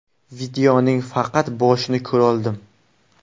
Videoning faqat boshini ko‘roldim.